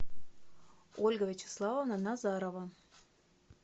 ольга вячеславовна назарова